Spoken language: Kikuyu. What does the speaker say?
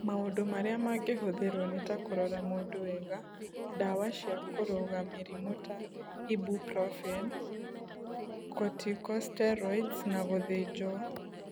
Maũndũ marĩa mangĩhũthĩrũo nĩ ta kũrora mũndũ wega, ndawa cia kũrũga mũrimũ ta Ibuprofen, corticosteroids, na gũthĩnjwo.